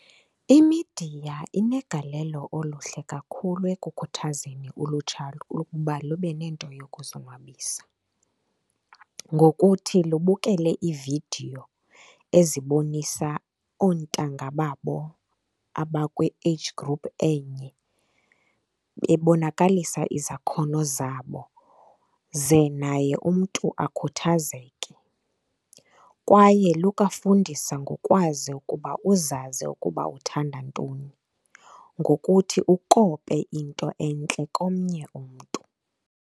Imidiya inegalelo oluhle kakhulu ekukhuthazeni ulutsha ukuba lube nento yokuzonwabisa ngokuthi lubukele iividiyo ezibonisa oontanga babo abakwi-age group enye bebonakalisa izakhono zabo ze naye umntu akhuthazeke. Kwaye lukwafundisa ngokwazi ukuba uzazi ukuba uthanda ntoni ngokuthi ukope into entle komnye umntu.